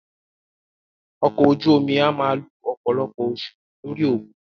Ọkọ̀ ojú omi a máà lo ọ̀pọ̀lọpọ̀ oṣù lórí òkun.